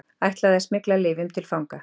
Ætlaði að smygla lyfjum til fanga